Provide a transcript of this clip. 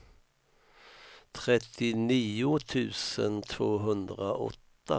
trettionio tusen tvåhundraåtta